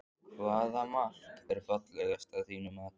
Hvaða mark er fallegast að þínu mati?